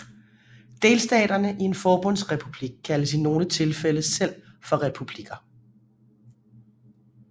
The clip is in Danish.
Delstaterne i en forbundsrepublik kaldes i nogle tilfælde selv for republikker